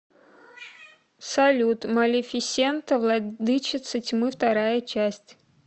салют малефисента владычица тьмы вторая часть